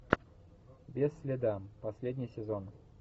без следа последний сезон